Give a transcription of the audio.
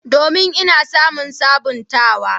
Domin, Ina samun sabuntawa.